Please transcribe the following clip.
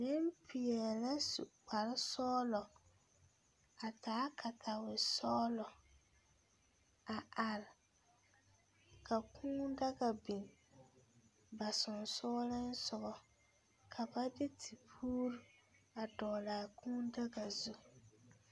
Nempeɛle la su kparesɔglɔ a taa katawesɔglɔ a are ka Kūū daga biŋ ba sensoglesoga ka ba de tepuuri a dɔgle a Kūū daga zu.